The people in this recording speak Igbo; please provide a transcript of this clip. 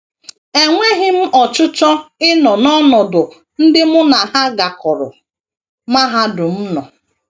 Enweghị m ọchịchọ ịnọ n’ọnọdụ ndị mụ na ha gakọrọ mahadum nọ.